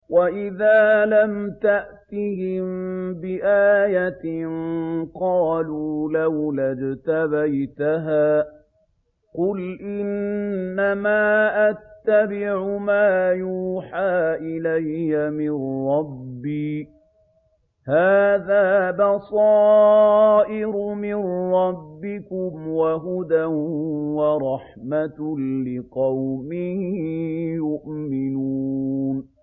وَإِذَا لَمْ تَأْتِهِم بِآيَةٍ قَالُوا لَوْلَا اجْتَبَيْتَهَا ۚ قُلْ إِنَّمَا أَتَّبِعُ مَا يُوحَىٰ إِلَيَّ مِن رَّبِّي ۚ هَٰذَا بَصَائِرُ مِن رَّبِّكُمْ وَهُدًى وَرَحْمَةٌ لِّقَوْمٍ يُؤْمِنُونَ